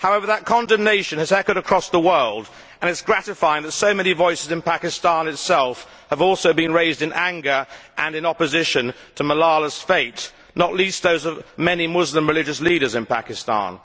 However, that condemnation has echoed across the world and it is gratifying that so many voices in Pakistan itself have also been raised in anger and in opposition to Malala's fate, not least those of many Muslim religious leaders in Pakistan.